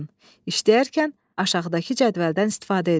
İşləyərkən aşağıdakı cədvəldən istifadə edin.